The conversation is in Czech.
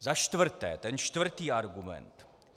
Za čtvrté, ten čtvrtý argument.